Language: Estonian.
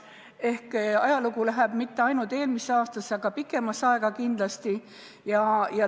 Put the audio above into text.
Ehk selle ajalugu ei lähe mitte ainult eelmisse aastasse, vaid kindlasti pikemasse aega.